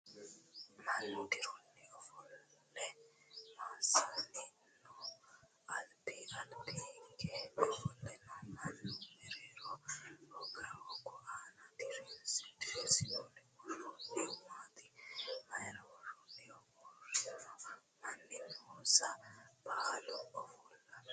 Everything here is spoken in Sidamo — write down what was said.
Mannu dirunni ofolle massanni nooho? Alba alba hige ofolle noo manni mereero hogu aana diriirsine woroonnihu maati? Maayra worroonniho? Uurrino manni noonso baalu ofollinoho?